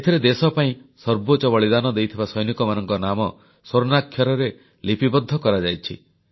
ଏଥିରେ ଦେଶ ପାଇଁ ସର୍ବୋଚ୍ଚ ବଳିଦାନ ଦେଇଥିବା ସୈନିକମାନଙ୍କ ନାମ ସ୍ୱର୍ଣ୍ଣାକ୍ଷରରେ ଲିପିବଦ୍ଧ କରାଯାଇଛି